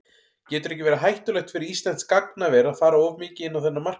Getur ekki verið hættulegt fyrir íslenskt gagnaver að fara of mikið inn á þennan markað?